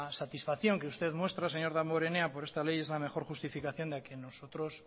satisfacción que usted muestra señor damborenea por esta ley es la mejor justificación